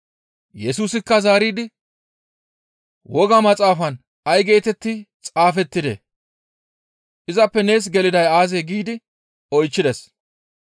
Yesusikka zaaridi, «Woga maxaafan ay geetetti xaafettidee? Izappe nees geliday aazee?» giidi oychchides.